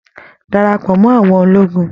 Darapọ̀ mọ́ àwọn ológun!